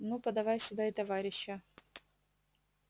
ну подавай сюда и товарища